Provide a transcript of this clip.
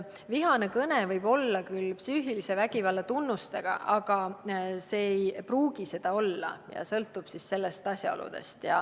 Vihane kõne võib olla küll psüühilise vägivalla tunnustega, aga ei pruugi, sõltub asjaoludest.